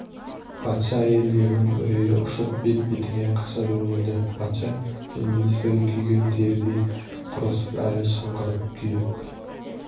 патша әйелдерінің үрейі ұшып бет-бетіне қаша жөнелді патша мен министр күйген терідей құрысып әлі шыңғырып күйіп